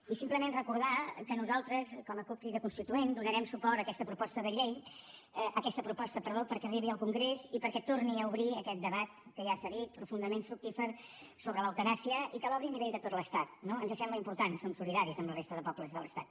i simplement recordar que nosaltres com a cup crida constituent donarem suport a aquesta proposta perquè arribi al congrés i perquè torni a obrir aquest debat que ja s’ha dit profundament fructífer sobre l’eutanàsia i que l’obri a nivell de tot l’estat no ens sembla important som solidaris amb la resta de pobles de l’estat